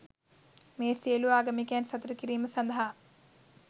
මෙය සියලු ආගමිකයන් සතුටු කිරීම සඳහා